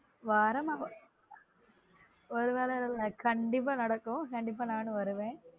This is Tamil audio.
வரனும் ஒரு வேளை ல இல்ல கண்டீப்பா நடக்கும் கண்டீப்பா நானும் வருவே